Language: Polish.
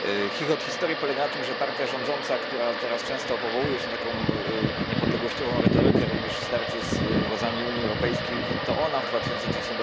Chichot historii polega na tym, że partia rządząca, która teraz często powołuje się na taką niepodległościową retorykę, również w starciu z władzami Unii Europejskiej, w 2003